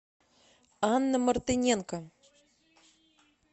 анна мартыненко